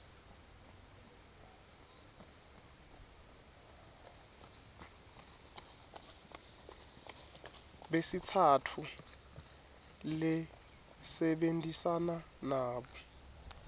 besitsatfu lesebentisana nabo